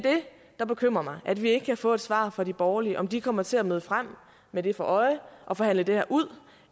der bekymrer mig at vi ikke kan få et svar fra de borgerlige om hvorvidt de kommer til at møde frem med det for øje at forhandle det her ud